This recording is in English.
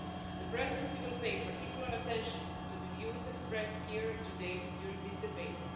The Presidency will pay particular attention to the views expressed here today during this debate.